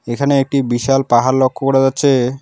এখানে একটি বিশাল পাহাড় লক্ষ্য করা যাচ্ছে।